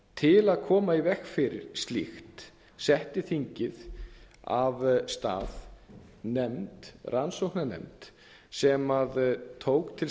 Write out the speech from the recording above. til að koma í veg fyrir slíkt setti þingið af stað nefnd rannsóknarnefnd sem tók til